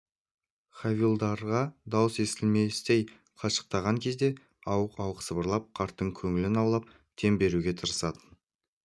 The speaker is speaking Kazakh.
хавильдарға даусы естілместей қашықтаған кезде ауық-ауық сыбырлап қарттың көңілін аулап дем беруге тырысатын